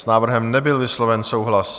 S návrhem nebyl vysloven souhlas.